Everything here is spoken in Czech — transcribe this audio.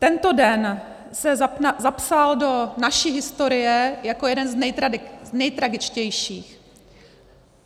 Tento den se zapsal do naší historie jako jeden z nejtragičtějších.